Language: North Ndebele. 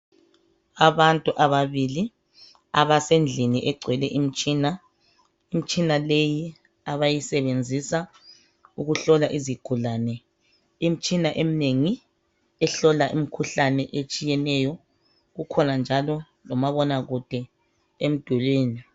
Abantu ababili abasendlini egcwele imtshina. imtshina leyi abayisebenzisa uku hlola izigulane. imtshina emnengi ehlola imkhuhlane etshiyeneyo, kukhona njalo lomabona kude emdulini.